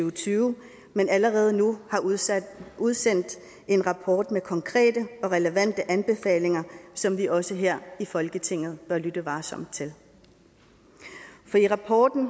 og tyve men allerede nu har udsendt udsendt en rapport med konkrete og relevante anbefalinger som vi også her i folketinget bør lytte varsomt til i rapporten